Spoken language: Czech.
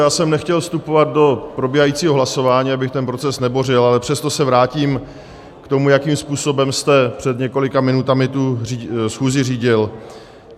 Já jsem nechtěl vstupovat do probíhajícího hlasování, abych ten proces nebořil, ale přesto se vrátím k tomu, jakým způsobem jste před několika minutami tu schůzi řídil.